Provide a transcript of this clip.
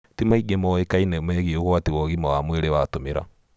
Ti maingĩ moĩkaine megie ũgwati wa ũgima wa mwĩrĩ watũmĩra.